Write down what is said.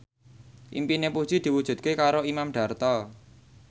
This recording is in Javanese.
impine Puji diwujudke karo Imam Darto